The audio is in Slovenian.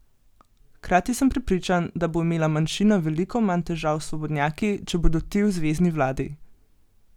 Hkrati sem prepričan, da bo imela manjšina veliko manj težav s svobodnjaki, če bodo ti v zvezni vladi.